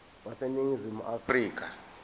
wase ningizimu afrika